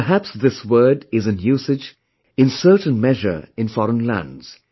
Perhaps this word is in usage in certain measures in foreign lands